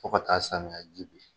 Fo ka taa samiya ji bin.